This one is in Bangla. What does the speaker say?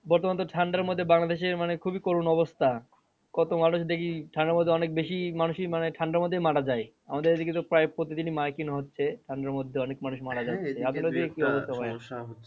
বর্তমানে তো ঠান্ডার মধ্যে বাংলাদেশে মানে খুবই করুন অবস্থা কত মানুষ দেখি ঠান্ডার মধ্যে অনেক বেশি মানুষই মানে ঠান্ডার মধ্যে মারা যাই আমাদের এদিকে তো প্রায় প্রতিদিনই micing হচ্ছে ঠান্ডার মধ্যে অনেক মানুষ মারা যাচ্ছে